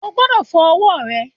O gbodò fo owó re